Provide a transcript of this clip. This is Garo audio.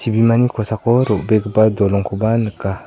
chibimani kosako ro·begipa dolongkoba nika.